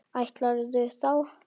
Ætlarðu þá.?